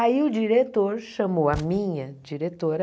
Aí o diretor chamou a minha diretora...